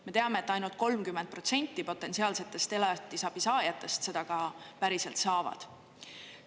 Me teame, et ainult 30 protsenti potentsiaalsetest elatisabisaajatest seda ka päriselt saavad.